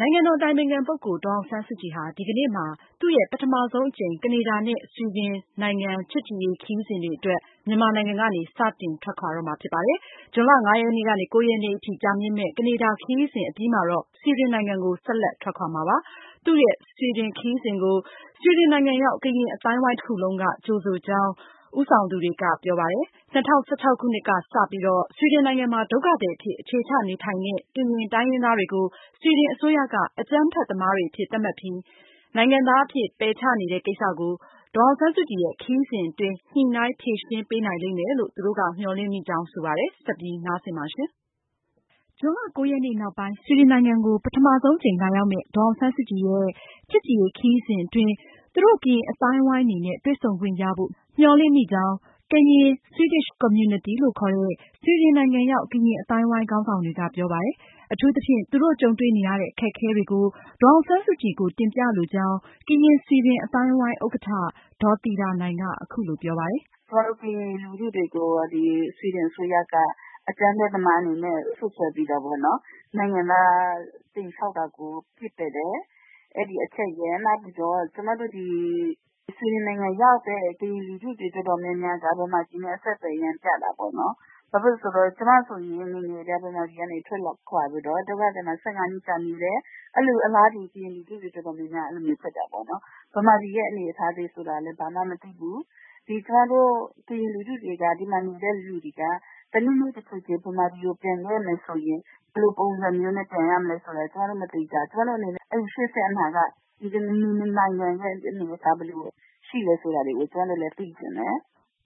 နိုင်ငံတော်အတိုင်ပင်ခံပုဂ္ဂိုလ် ဒေါ်အောင်ဆန်းစုကြည် ပထမဆုံးအကြိမ် လာရောက်မယ့် ဆွီဒင်ခရီးစဉ်ကို ကရင်အသိုင်းအဝိုင်းတခုလုံးက စိတ်အားထက်သန်စွာကြိုဆိုနေကြောင်း ဦးဆောင်သူတွေက ပြောကြားပါတယ်။ ၂၀၁၆ခုနှစ် ကစပြီး ဆွီဒင်နိုင်ငံမှာ ဒုက္ခသည်အဖြစ် အခြေချ နေထိုင်နေတဲ့ ကရင်တိုင်းရင်းသားတွေကို ဆွီဒင်အစိုးရက အကြမ်းဖက်သမားတွေအဖြစ် စွပ်စွဲပြီး နိုင်ငံသားအဖြစ် ပယ်ချနေတဲ့ ကိစ္စကို ဒေါ်အောင်ဆန်းစုကြည်ရဲ့ ခရီးစဉ်အတွင်း ညှိုနှိုင်း ဖြေရှင်းပေးနိုင်မယ်လို့ မျှော်လင့်မိကြောင်း ဆိုပါတယ်။ ဆက်သွယ်မေးမြန်းထားတဲ့ မအင်ကြင်းနိုင်က အပြည့်အစုံကို ပြောပြမှာပါ။ ဇွန်လ ရက်နေ့နောက်ပိုင်း ဆွီဒင်နိုင်ငံကို ပထမဆုံးအကြိမ် လာရောက်မယ့် ဒေါ်အောင်ဆန်းစုကြည်ရဲ့ ချစ်ကြည်ရေးခရီးစဉ်အတွင်း သူတို့ ကရင်အသိုင်းအဝိုင်းအနေနဲ့ တွေ့ဆုံခွင့်ရဖို့ မျှော်လင့်မိကြောင်း Karen Swedish Community လို့ခေါ်တဲ့ ဆွီဒင်နိုင်ငံ ရောက် ကရင် အသိုင်းအဝိုင်း ခေါင်းဆောင်တွေက ပြောပါတယ်။ အထူးသဖြင့် သူတို့ကြုံတွေ့နေရတဲ့ အခက်အခဲတွေကို ဒေါ်အောင်ဆန်းစုကြည်ကို တင်ပြလိုကြောင်း ကရင် ဆွီဒင် အသိုင်းအဝိုင်း ဥက္ကဌ ဒေါ်သီတာနိုင်က ပြောပါတယ်။ “ကျမတို့ ကရင်လူထုတွေကို ဆွီဒင်အစိုးရက အကြမ်းဖက်သမားအနေနဲ့ စွပ်စွဲပြီးတော့ပေ့ါနော်၊ နိုင်ငံသားအဖြစ် လျှောက်တာကို ပစ်ပယ်တယ်။ အဲဒီအချက်ရယ် နောက်ပီးတော့ ကျမတို့ဒီ ဆွီဒင်နိုင်ငံရောက်နေတဲ့ ကရင်လူထုတွေ အတွက်တော့ မြန်မာပြည်နဲ့ အဆက်သွယ် ပြတ်တာပေါ့လေ။ ကျမဆိုရင် ငယ်ငယ်ကတည်းက ဗမာပြည်ကနေ ထွက်လာပြီးတော့ ဒုက္ခသည်စခန်းမှာ ၁၅ နှစ်လောက် နေလာတယ်။ အလားတူပဲ ကရင်လူမျိုး အတေ်ာများများ အဲလိုဖြစ်ကြတယ်။ မြန်မာပြည်ရဲ့ အနေအထားဆိုတာလဲ ဘာမှ မသိကြဘူး။ ဒီဆွီဒင်မှာနေတဲ့ ကရင်လူထုတွေက တနေ့နေ့ တချိန်ချိန် ဗမာပြည် ပြန်ခဲ့မယ်ဆိုရင် ဘယ်လိုပုံစံနဲ့ ပြန်ရမလဲဆိုတာ မသေချာဘူး။ ရှေ့ဆက် အနာဂတ် ဒီနှစ်နိုင်ငံကြား ဘယ်လိုရှိမလဲဆိုတာ ကျမတို့သိချင်တယ်”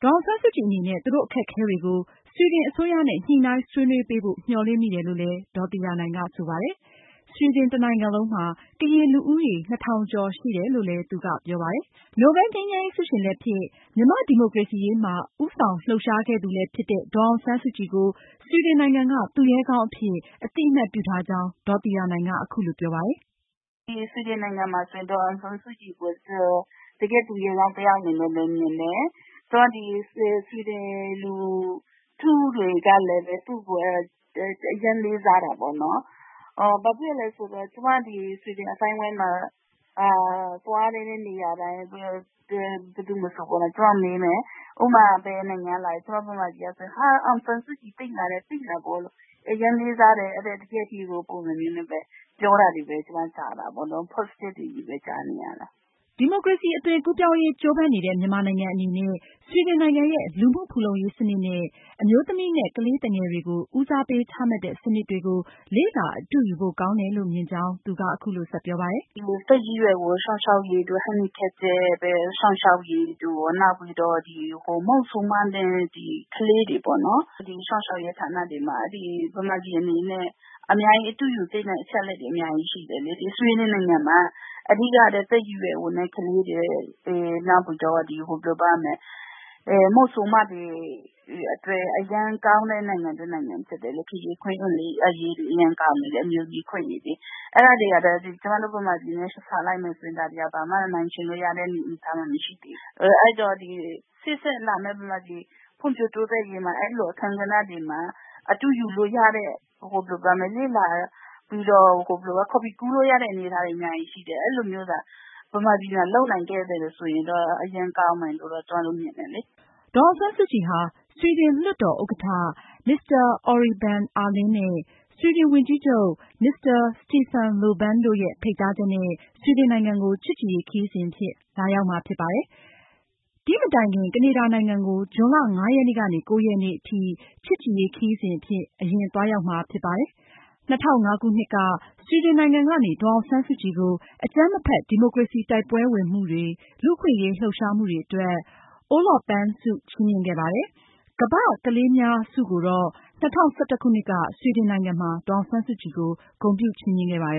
ဒေါ်အောင်ဆန်းစုကြည်အနေနဲ့ သူတို့အခက်အခဲတွေကို ဆွီဒင်အစိုးရနဲ့ ညှိုနှှိုင်းဆွေးနွေးပေးဖို့ မျှော်လင့်မိတယ်လို့လည်း ဒေါ်သီတာနိုင်က ဆိုပါတယ်။ ဆွီဒင်တနိုင်ငံလုံးမှာ ကရင်လူဦးရေ နှစ်ထောင်ကျော် ရှိတယ်လို့လဲ သူက ပြောပါတယ်။ နိုဘယ်လ်ငြိမ်းချမ်းရေး ဆုရှင်လည်းဖြစ် မြန်မာ့ဒီမိုကရေစီရေးမှာ ဦးဆောင်လှုပ်ရှားခဲ့တဲ့ ဒေါ်အောင်ဆန်းစုကြည်ကို ဆွီဒင်နိုင်ငံက သူရဲကောင်းအဖြစ် အသိအမှတ် ပြုထားကြောင်း ဒေါ်သီတာနိုင်က အခုလိုပြောပါတယ်။ “ဆွီဒင်နိုင်ငံမှာဆိုရင် ဒေါ်အောင်ဆန်းစုကြည်ကို တကယ့်သူရဲကောင်း တယောက်အနေနဲ့ပဲ မြင်တယ်။ ဆွီဒင်လူထုကလည်းပဲ သူ့ကို အရမ်း လေးစားတာပေါ့။ ဒီ ဆွီဒင် အသိုင်းအဝိုင်းမှာ သွားတဲ့နေရာတိုင်း ဘယ်သူမဆိုပေ့ါလေ ကျမကို ဘယ်နိုင်ငံကလဲလို့ မေးတဲ့အခါ ကျမက ဗမာပြည်က လာတယ်ပြောရင်.. ဟာ အောင်ဆန်းစုကြည်သိလားတဲ့.. သိတာပေါ့လို့။ တကယ့်ဟီးရိုး ပုံစံမျိုးနဲ့ အရမ်းလေးစားတယ်တဲ့။ အဲလို အကောင်းမြင်ပြောတာတွေပဲ ကျမကြားရလေ့ရှိတယ်” ဒီမိုကရေစီ အသွင်ကူးပြောင်းရေးကြိုးပမ်းနေတဲ့ မြန်မာနိုင်ငံအနေနဲ့ ဆွီဒင်နိုင်ငံရဲ့ လူမှုဖူလုံရေးစနစ်နဲ့ အမျိုးသမီးနဲ့ ကလေးသူငယ်တွေ ဦးစားပေးချမှတ်တဲ့ စနစ်တွေကို လေ့လာအတုယူဖို့ကောင်းတယ်လို့ မြင်ကြောင်း သူက အခုလိုဆက်ပြောပါတယ်။ “သက်ကြီးရွယ်အို စောင့်ရှောက်ရေးတို့ မသန်စွမ်းတွေ စောင့်ရှောက်ရေးတို့ ၊ နောက်ပြီး မုဆိုးမတွေနဲ့ ကလေးတွေကို စောင့်ရှောက်ရေးဌာန တွေမှာ ဗမာပြည်အနေနဲ့ အတုယူ သင့်တဲ့အချက်တွေ အများကြီးရှိတယ်။ ဆွီဒင်နိုင်ငံမှာ သက်ကြီးရွယ်အိုတွေနဲ့ ကလေးတွေ မုဆိုးမတွေ အတွက် အရမ်းကောင်းတဲ့ နိုင်ငံဖြစ်တယ်။ အခွင့်အရေးတွေ အရမ်းကောင်းတယ်။ ဗမာပြည်နဲ့ဆိုရင် ဘာမှကို နှိုင်းယှဉ်လို့ မရတဲ့ အနေအထား တွေပါ။ အဲဒီတော့ လာမယ့် ဗမာပြည် ဖွံ့ဖြိုးတိုးတက်ရေး အခန်းကဏ္ဍတွေမှာ အတုယူစရာတွေ အများကြီးရှိပါတယ်။ ဒီကလိုမျိုး ဗမာပြည်မှာ လုပ်နိုင်ခဲ့ရင်တော့ အရမ်းကောင်းမယ်လို့ ထင်တယ်” ဒေါ်အောင်ဆန်းစုကြည်ဟာ ဆွီဒင်လွှတ်တော်ဥက္ကဋ္ဌ မစ္စတာ အော်ရိဘန် အာလင်းနဲ့ ဆွီဒင်ဝန်ကြီးချုပ် မစ္စတာ စတီဖန်လိုဗန်တို့ရဲ့ ဖိတ်ကြား ချက်နဲ့ ချစ်ကြည်ရေးခရီးစဉ်အဖြစ် လာရောက်မှာဖြစ်ပါတယ်။ ဒီခရီးစဉ်မတိုင်ခင် ကနေဒါနိုင်ငံကို ဇွန်လ ၅ ရက်နေ့ကနေ ၉ ရက်နေ့ထိ ချစ်ကြည်ရေးခရီးအဖြစ် အရင်သွားရောက်မှာဖြစ်ပါတယ်။ ၂၀၀၅ခုနှစ်က ဆွီဒင်နိုင်ငံကနေ ဒေါ်အောင်ဆန်းစုကြည်ကို အကြမ်းမဖက် ဒီမိုကရေစီတိုက်ပွဲဝင်မှုတွေ လူ့အခွင့်အရေးလှုပ်ရှားမှုတွေအတွက် Olof Plame prize ဆုချီးမြှင့်ခဲ့ပါတယ်။ World's children's Prize ကိုတော့ ၂၀၁၁ ခုနှစ်မှာ ဆွီဒင်နိုင်ငံမှာ ဒေါ်အောင်ဆန်းစုကြည်ကို ဂုဏ်ပြု ချီးမြှင့်ခဲ့ပါတယ